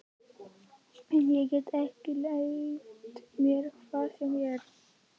En ég get ekki leyft mér hvað sem er!